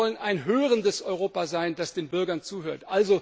Wir wollen ein hörendes Europa sein, das den Bürgern zuhört!